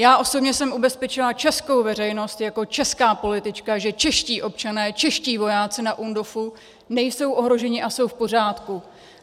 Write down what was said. Já osobně jsem ubezpečila českou veřejnost jako česká politička, že čeští občané, čeští vojáci na UNDOFu nejsou ohroženi a jsou v pořádku.